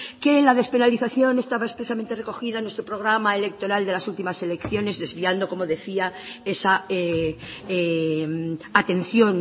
que la despenalización estaba expresamente recogida en nuestro programa electoral de las últimas elecciones desviando como decía esa atención